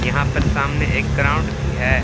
यहां पर सामने एक ग्राउंड भी है।